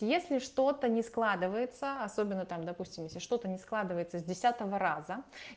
если что-то не складывается особенно там допустим если что-то не складывается с десятого раза